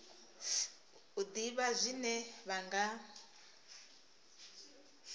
u ḓivha zwine vha nga